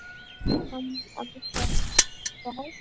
Hann ákvað það.